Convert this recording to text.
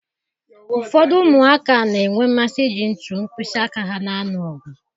Ụfọdụ ụmụaka na-enwe mmasị iji ntu mkpịsị aka ha na-alụ ọgụ